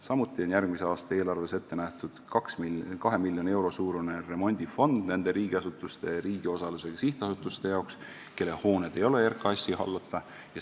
Samuti on järgmise aasta eelarves ette nähtud 2 miljoni euro suurune remondifond nende riigiasutuste ja riigi osalusega sihtasutuste jaoks, kelle hooned ei ole RKAS-i hallata.